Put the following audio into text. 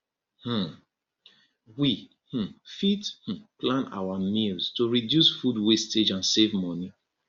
um we um fit um plan our meals to reduce food wastage and save money